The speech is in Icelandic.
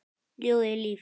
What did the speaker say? Ljóðið er líf.